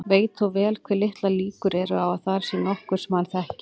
Veit þó vel hve litlar líkur eru á að þar sé nokkur sem hann þekkir.